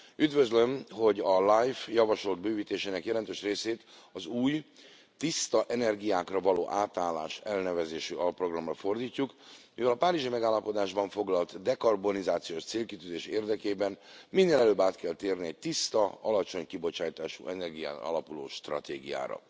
Üdvözlöm, hogy a LIFE javasolt bővítésének jelentős részét az új, tiszta energiákra való átállás elnevezésű alprogramra fordítjuk, mivel a Párizsi Megállapodásban foglalt dekarbonizációs célkitűzés érdekében minél előbb át kell térni egy tiszta, alacsony kibocsátású energián alapuló stratégiára.